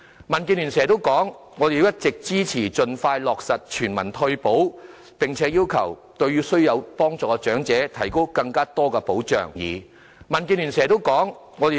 民建聯一直支持盡快落實全民退休保障，並要求對需要幫助的長者提供更多保障。